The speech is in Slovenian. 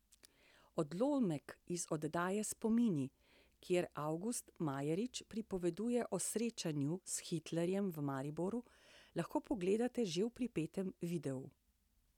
Odlomek iz oddaje Spomini, kjer Avgust Majerič pripoveduje o srečanju s Hitlerjem v Mariboru, lahko pogledate že v pripetem videu.